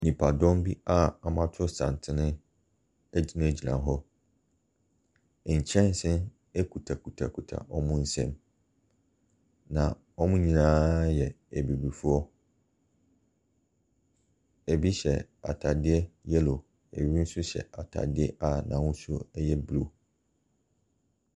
Nipadɔm bi a woatɔ santene egyinagyina hɔ. Nkyɛnse ekutakutakuta wɔn nsam, na wɔn nyinaa yɛ abibifoɔ. Ebi hyɛ ataadeɛ yellow, ebi nso hyɛ ataadeɛ n'ahosuo no ɛyɛ blue.